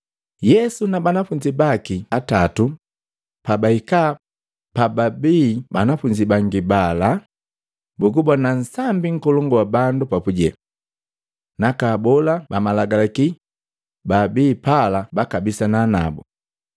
Yesu na banafunzi baki atatu pabahika pababii banafunzi bangi pala, bugubona nsambi nkolongu wa bandu papuje. Naka abola ba malagalaki babi pala bakabisana nabu.